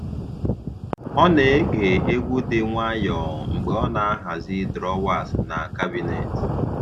Ọ na-ege egwu dị nwayọọ mgbe ọ na-ahazi drọwas na kabinet